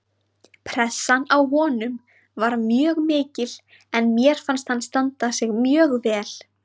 Pressan á honum var mjög mikil en mér fannst hann standa sig mjög vel